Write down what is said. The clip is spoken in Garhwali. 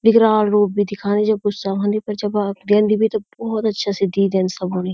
विकराल रूप भी दिखायुं जब गुस्सा हुन्दी पर जब वा देंदी भी त बहौत अच्छा से देंदी सब्यों ने।